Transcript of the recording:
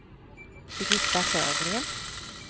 Birgitta Sjögren